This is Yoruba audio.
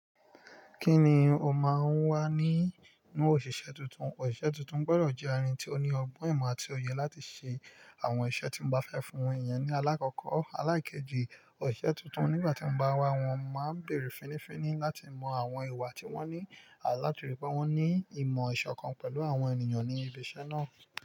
Kí ni o máa ń wá ní inú òṣìṣẹ́ tuntun? Òṣìṣẹ́ tuntun gbọdọ̀ jẹ́ arín tí ó ní ọgbọ́n ìmọ̀ àti òye láti ṣe àwọn iṣẹ́ tí mbá fẹ́ fún wọn. Ìyẹn ni àlàkọ̀kọ́. Alakeji ọ̀sẹ̀ titun nígbà ti a bá n ọmọ bere finifini láti mon àwọn ìwà ti won nhi.